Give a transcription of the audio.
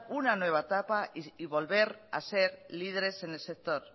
una nueva etapa y volver a ser líderes en el sector